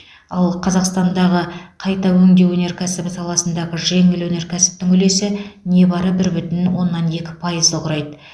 ал қазақстандағы қайта өңдеу өнеркәсібі саласындағы жеңіл өнер кәсіптің үлесі небәрі бір бүтін оннан екі пайызды құрайды